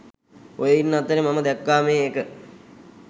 ඔය ඉන්න අතරේ මම දැක්කාමේ එක